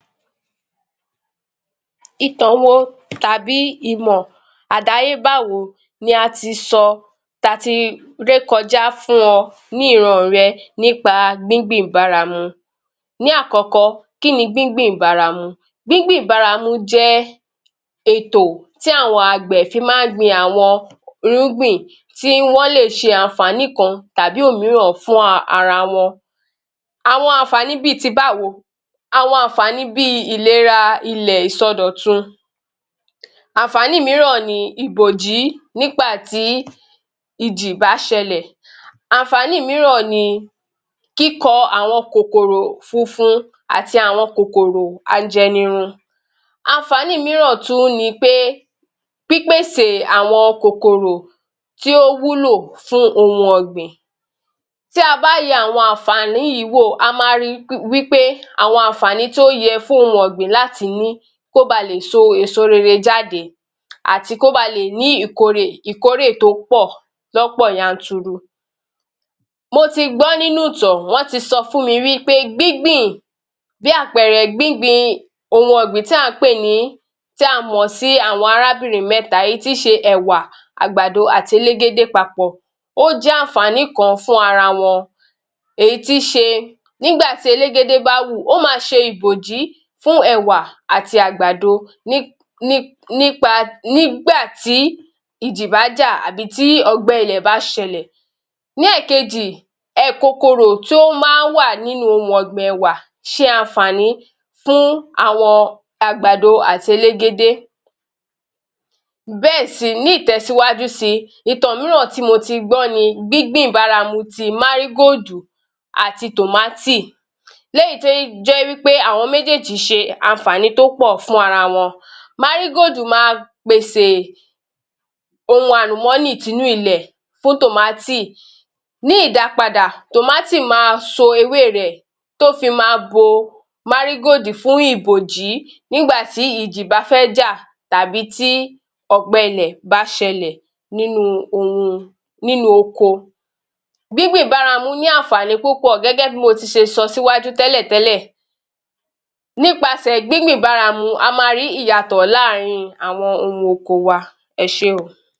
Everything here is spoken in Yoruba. Ìtàn wo tàbí ìmọ̀ àdáyébá wo ni a ti sọ, ta ti ré kọjá fún ọ ní ìran àn rẹ nípa gbíngbìn ìbáramu? Ní àkọ́kọ́, kí ni gbíngbìn ìbáramu? Gbíngbìn ìbáramu jẹ́ ètò tí àwọn àgbẹ̀ fi máa ń gbin àwọn irúgbìn tí wọ́ lè ṣe àwọn àǹfààní kan tàbí òmíràn fún ara wọn. Àwọn àǹfààní bíi ti báwo? Àwọn àǹfààní bíi ìlera ilẹ̀ ìsọdòtun, àǹfààní míràn ni ibòjí nígbàtí ìjì bá ṣẹlẹ̀. Àǹfààní míràn ni kíkọ àwọn kòkòrò funfun àti àwọn kòkòrò ajẹnirun. Àǹfààní míràn tún ni pé, pípèsè àwọn kòkòrò tí ó wúlò fún oun ọ̀gbìn. Tí a bá yẹ gbogbo àwọn alnlfààní yìí wò, a ma ri wípé àwọn àǹfààní tí ó yẹ fún oun ọ̀gbìn láti ni kó ba lè so èso rere jáde, àti kó ba lè ní ìkórè tó pọ̀ lọ́pò yanturu. Mo ti gbọ́ nínú ìtàn, wọ́n ti sọ fún mi wípé gbíngbìn, bí àpẹerẹ; gbíngbin ohun ọ̀gbìn tí a mọ̀ sí'‘Àwọn Arábìnrin mẹ́ta'’ èyí tíí ṣe Ẹ̀wà, Àgbàdo àti Elégédé papọ̀ ó jẹ́ àǹfààní kan fún ara wọn. Èyí tíí ṣe; nígbàtí Elégédé bá wù, ó ma ṣe ìbòjí fún Ẹ̀wà àti Àgbàdo nígbàtí ìjì bá jà àbí tí ọgbẹ́ ilẹ̀ bá ṣẹlẹ̀. Ní ẹ̀ẹ̀kejì, kòkòrò tí ó máa ń wà nínú oun ọ̀gbìn Ẹ̀wà ṣe àǹfààní fún àwọn Àgbàdo àti Elégédé. Ní ìtẹ̀síwájú si, ìtàn míràn tí mo ti gbọ́ ni: Gbíngbìn ìbáramu ti Márígóòdù àti tòmátì, léyìí tó jẹ́ wípé àwọn méjéèjì ṣe àǹfààní tó pọ̀ fún ara wọn. Márígóòdù ma pèsè oun àlùmọ́nì tinú ilẹ̀ fún tòmátì, ní ìdápadà tòmátì ma so ewé rẹ̀ tó fi ma bo Márígóòdù fún ìbòjí. Nígbàtí ìjì bá fẹ́ jà tàbí tí ọ̀gbẹ ilẹ̀ bá ṣẹlẹ̀ nínú oko. Gbíngbìn báramu ní àǹfààní púpọ̀ gẹ́gẹ́ bí mo ti ṣe sọ síwájú tẹ́lẹ̀tẹ́lẹ̀, nípasẹ̀ gbíngbìn ìbáramu a ma rí ìyàtọ̀ lá́àárín àwọn oun oko wa. Ẹ ṣé o.